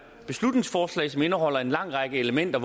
beslutningsforslag som indeholder en lang række elementer